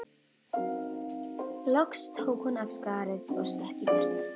Loks tók hún af skarið og stökk í burtu.